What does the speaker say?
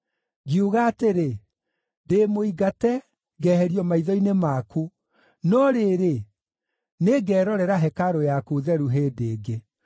Ngiuga atĩrĩ, ‘Ndĩ mũingate, ngeherio maitho-inĩ maku; no rĩrĩ, nĩngerorera hekarũ yaku theru hĩndĩ ĩngĩ.’